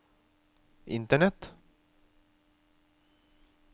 internett